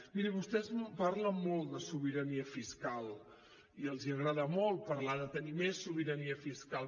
miri vostès parlen molt de sobirania fiscal i els agrada molt parlar de tenir més sobirania fiscal